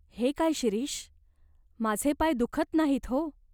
"हे काय शिरीष ? माझे पाय दुखत नाहीत हो.